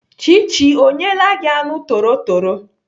Chichi ọ nyeela gị anụ torotoro?